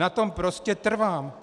Na tom prostě trvám.